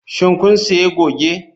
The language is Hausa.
Shin kun sayi goge?